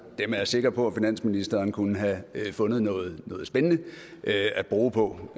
dem er jeg sikker på at finansministeren kunne have fundet noget spændende at bruge på